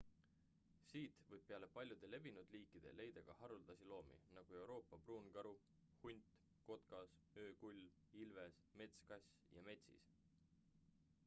siit võib peale paljude levinud liikide leida ka haruldasi loomi nagu euroopa pruunkaru hunt kotkas öökull ilves metskass ja metsis